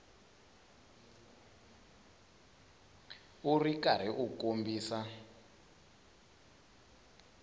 u ri karhi u kombisa